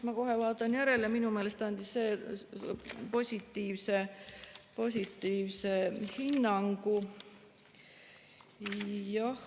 Ma kohe vaatan järele, minu meelest andis positiivse hinnangu.